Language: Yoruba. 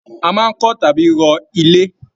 A máa n kọ tàbí rọ̀ ilé.